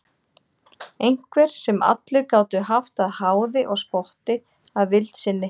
Einhver sem allir gátu haft að háði og spotti að vild sinni.